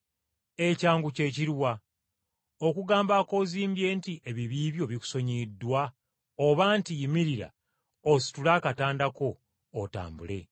Ekyangu kye kiruwa, okugamba akoozimbye nti ebibi byo bikusonyiyiddwa oba nti yimirira ositule akatanda ko otambule?